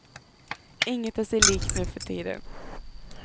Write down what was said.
Inget är sig likt nu för tiden.